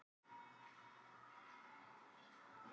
getið þið sýnt mér mynd af tígrisdýri á veiðum